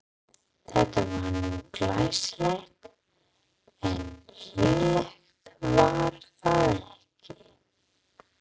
Þetta var nú glæsilegt, en hlýlegt var það ekki.